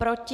Proti?